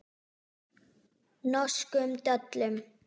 Norskum döllum.